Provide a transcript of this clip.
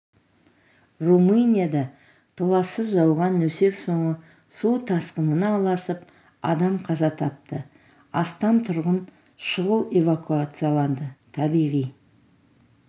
румынияда толассыз жауған нөсер соңы су тасқынына ұласып адам қаза тапты астам тұрғын шұғыл эвакуацияланды табиғи